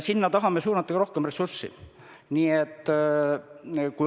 Sinna tahame suunata ka rohkem ressurssi.